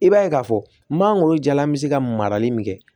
I b'a ye k'a fɔ mangoro jalan bɛ se ka marali min kɛ